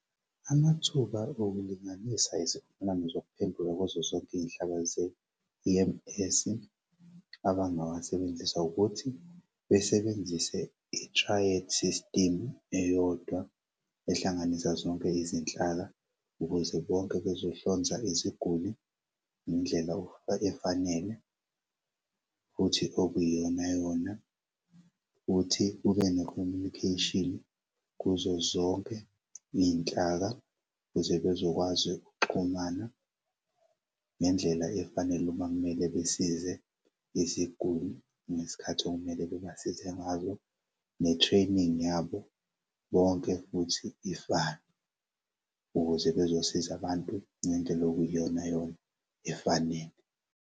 Amathuba okulinganisa izivumelwano zokuphenduka kwezosompihla ze-E_M_S abangawasebenzisa ukuthi besebenzise i-triad system eyodwa ehlanganisa zonke izinhlaka ukuze bonke bezohlonza iziguli ngendlela efanele futhi okuyiyona yona. Futhi kube ne-communication kuzo zonke iy'nhlaka ukuze bezokwazi ukuxhumana ngendlela efanele makumele besize iziguli ngesikhathi okumele bebasize ngazo ne-training yabo bonke futhi ifane ukuze bezosiza abantu ngendlela okuyiyonayona efanele.